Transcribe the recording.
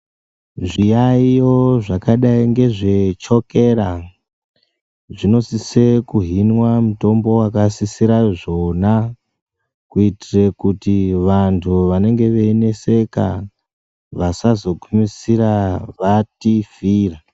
Zviyaiyo zvakadai ndezvechokeya zvinosise kuhinwa mutombo wakasisire zvona kuitira kuti vantu vanenge veknonetseka vasazoguisira vatifira.